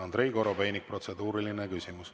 Andrei Korobeinik, protseduuriline küsimus.